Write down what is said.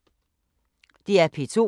DR P2